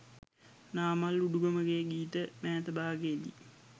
නාමල් උඩුගමගේ ගීත මෑත භාගයේ දී